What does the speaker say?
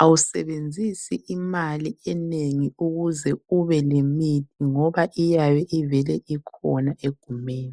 Awusebenzisi imali enengi ukuze ubelemithi ngoba iyabe ivele ikhona egumeni.